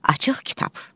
Açıq kitab.